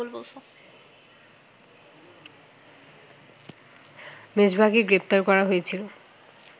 মেজবাহকে গ্রেপ্তারকরা হয়েছিল